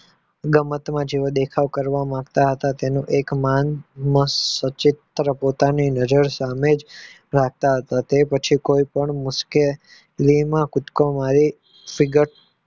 ઉદમતમાં જેવા દેખાવ કરવા માંગતા હતા તેને એક સચેત્ર પોતાની નજર સામે રાખતા પછી કોઈ પણ મુશ્ક્લી તેઓને કુદકો મારી સીગત